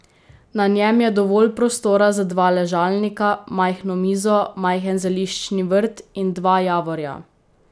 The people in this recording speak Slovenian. Na njem je dovolj prostora za dva ležalnika, majhno mizo, majhen zeliščni vrt in dva javorja.